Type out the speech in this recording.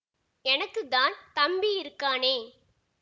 எனக்கு தான் தம்பி இருக்கானே